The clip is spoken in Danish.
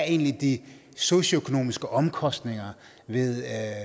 egentlig er de socioøkonomiske omkostninger ved